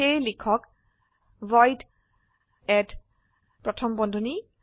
সেয়ে লিখক void add প্রথম বন্ধনী